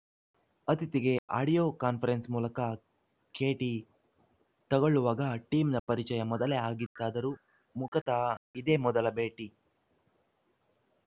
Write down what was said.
ಅತಿಥಿಗೆ audio conference ಮೂಲಕ ಕೇಟಿ ತಗೊಳ್ಳುವಾಗ ಟಿಮ್‌ ನ ಪರಿಚಯ ಮೊದಲೇ ಆಗಿತ್ತಾದರೂ ಮುಖತಃ ಇದೇ ಮೊದಲ ಭೆಟ್ಟಿ